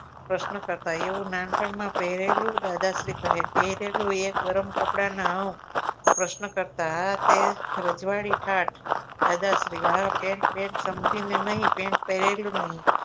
પ્રશ્ન કરતા હું નાનપણ માં પહેરેલું દાદાશ્રી કહે પહેરેલું એ ગરમ કપડા ના પ્રશ્ન કરતા તે રજવાડી ઠાઠ દાદાશ્રી હા pant બેંટ સમજી ને નહિ pent પહેરેલું નહિ